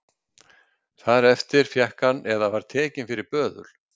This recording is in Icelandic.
Þar eftir fékk hann eða var tekinn fyrir böðul